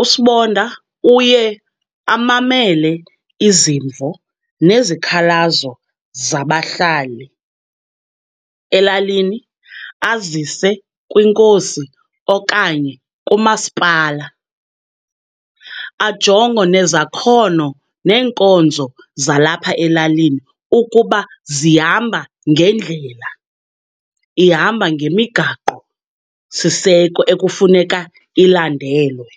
USibonda uye amamele izimvo nezikhalazo zabahlali elalini azise kwinkosi okanye kumasipala. Ajonge nezakhono neenkonzo zalapha elalini ukuba zihamba ngendlela, ihamba ngemigaqosiseko ekufuneka ilandelwe.